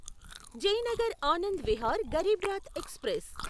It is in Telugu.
జయనగర్ ఆనంద్ విహార్ గరీబ్ రాత్ ఎక్స్ప్రెస్